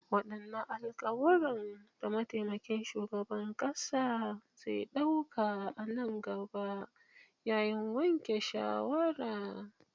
Wadanne alkawuran da mataimakin shugaban kasa zai dauka a nan gaba yayin yanke shawara?